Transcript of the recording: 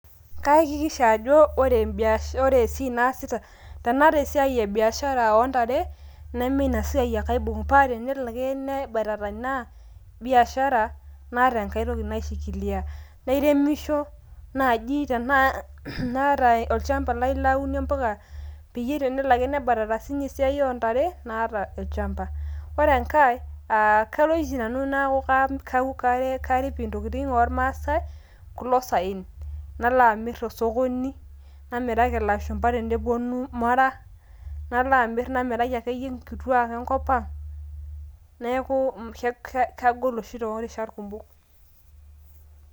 kaakikisha ajo ore emb ore esiaai naasita ,tenaata esiai e biashara ontare neme ina siai ake aibung paa tenelo ake nebatata ina biashara naata enkae toki naishikilia. nairemisho naji tenaa kaata olchamba laitaynyie impuka peyie tenelo ake nebatata esiai oontare naata olchamba . ore enkae kaku karip intokitin oormaasae kulo saen nala amir tosokoni namiraki ilashumba tenepuonu Mara. nala amir namiraki akeyie nkituaak enkop ang neaku ke kagol oshi torishat kumok .